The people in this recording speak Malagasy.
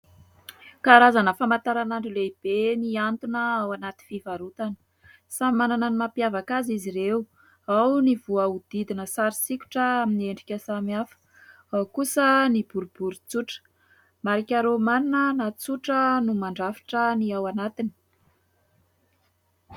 Karazana famantaranandro ny lehibe mihantona ao anaty fivarotana. Samy manana ny mampiavaka azy izy ireo, ao ny voahodidina sary sikotra amin'ny endrika samihafa, ao kosa ny boribory tsotra, marika rômanina na tsotra no mandrafitra ny ao anatiny.